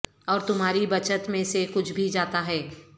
اور تمہاری بچت میں سے کچھ بھی جاتا ہے